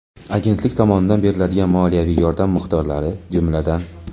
Agentlik tomonidan beriladigan moliyaviy yordam miqdorlari, jumladan:.